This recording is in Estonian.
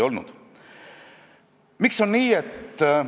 " Mulle tundub, et kultuurikomisjon on just sellest lähtunud.